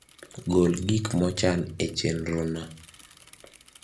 gol gik mochan e chenrona